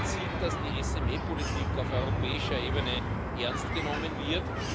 Man sieht, dass die SME Politik auf europäischer Ebene ernst genommen wird.